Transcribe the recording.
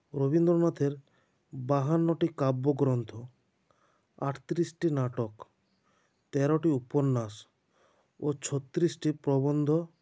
রবীন্দ্রনাথের বাহান্নটি কাব্যগ্ৰন্থ আটত্রিশটি নাটক তেরোটি উপন্যাস ও ছত্রিশটি প্রবন্ধ